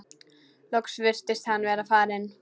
Loks virtist hann vera farinn.